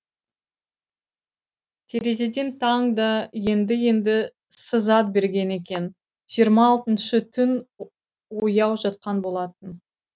терезеден таң да енді енді сызат берген екен жиырма алтыншы түн ояу жатқан болатын